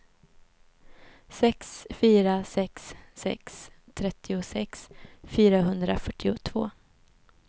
sex fyra sex sex trettiosex fyrahundrafyrtiotvå